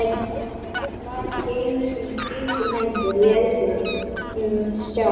Hann var ekki einu sinni skrítinn lengur í augum Stjána.